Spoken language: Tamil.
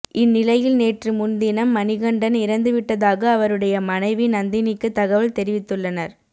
இந்நிலையில் நேற்று முன்தினம் மணிகண்டன் இறந்துவிட்டதாக அவருடைய மனைவி நந்தினிக்கு தகவல் தெரிவித்துள்ளனர்